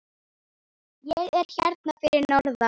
Ég er hérna fyrir norðan.